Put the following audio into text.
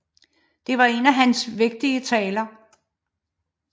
Det var en af hans vigtigste taler